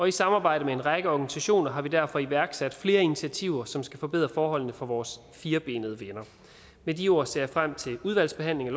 i samarbejde med en række organisationer har vi derfor iværksat flere initiativer som skal forbedre forholdene for vores firbenede venner med de ord ser jeg frem til udvalgsbehandlingen